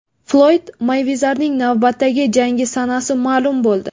Floyd Meyvezerning navbatdagi jangi sanasi ma’lum bo‘ldi.